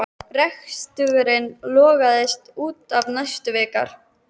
Reksturinn lognaðist út af næstu vikurnar.